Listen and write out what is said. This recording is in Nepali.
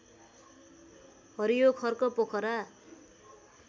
हरियो खर्क पोखरा